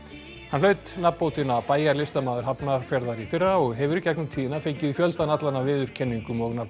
hann hlaut nafnbótina bæjarlistamaður Hafnarfjarðar í fyrra og hefur í gegnum tíðina fengið fjöldan allan af viðurkenningum og